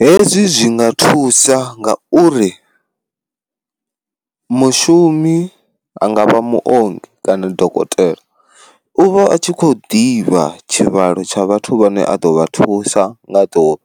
Hezwi zwi nga thusa nga uri, mushumi anga vha muongi kana dokotela u vha a tshi khou divha tshivhalo tsha vhathu vhane a ḓo vha thusa nga ḓuvha,